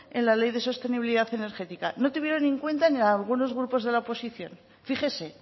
en la ley de sostenibilidad energética no tuvieron en cuenta ni algunos grupos de la oposición fíjese